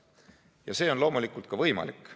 Ja see on loomulikult ka võimalik.